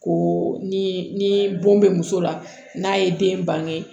Ko ni bon bɛ muso la n'a ye den bange